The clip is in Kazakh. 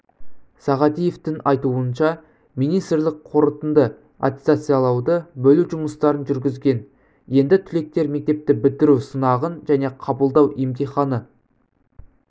сағадиевтің айтуынша министрлік қорытынды аттестациялауды бөлу жұмыстарын жүргізген енді түлектер мектепті бітіру сынағын және қабылдау емтиханы